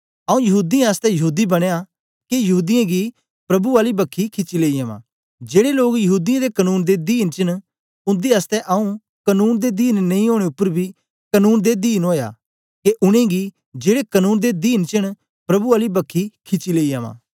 आऊँ यहूदीयें आसतै यहूदी बनयां के यहूदीयें गी प्रभु आली बक्खी खिची लेई अवां जेड़े लोग यहूदीयें दे कनून दे दीन च न उन्दे आसतै आऊँ कनून दे दीन नेई ओनें उपर बी कनून दे दीन ओया के उनेंगी जेड़े कनून दे दीन च न प्रभु आली बक्खी खिची लेई अवां